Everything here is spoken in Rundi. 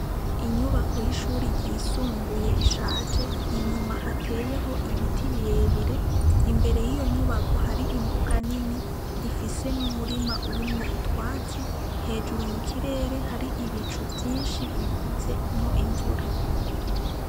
Inyubako y'ishuri ryisumbuye ishaje, inyuma hateyeho ibiti birebire. Imbere yiyo nyubako hari imbuga nini ifise n'umurima urimwo utwatsi, hejuru mukirere hari ibicu vyinshi bikuvyemwo imvura.